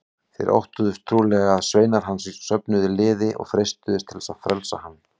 Þeir óttuðust trúlega að sveinar hans söfnuðu liði og freistuðu þess að frelsa hann.